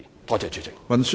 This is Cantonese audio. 多謝主席。